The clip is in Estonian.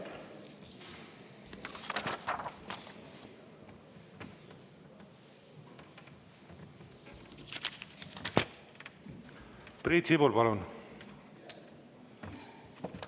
Priit Sibul, palun!